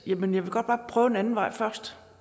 det men jeg vil godt prøve en anden vej først